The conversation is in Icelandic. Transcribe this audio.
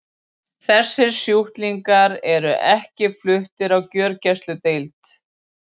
Þessir sjúklingar eru ekki fluttir á gjörgæsludeild.